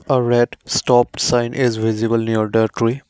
A red stop sign is visible near the tree.